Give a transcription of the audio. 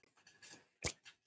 Elsku Birgir.